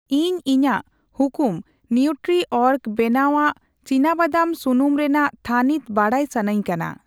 ᱤᱧ ᱤᱧᱟᱜ ᱦᱩᱠᱩᱢ ᱱᱤᱣᱴᱨᱤᱚᱨᱜ ᱵᱮᱱᱟᱣᱟᱜ ᱪᱤᱱᱟᱵᱟᱫᱟᱢ ᱥᱩᱱᱩᱢ ᱨᱮᱱᱟᱜ ᱛᱷᱟᱱᱤᱛ ᱵᱟᱰᱟᱭ ᱥᱟᱹᱱᱟᱧ ᱠᱟᱱᱟ ᱾